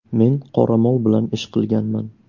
Men qoramol bilan ish qilganman.